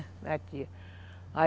Na tia.